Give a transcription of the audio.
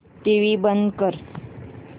TV बंद कर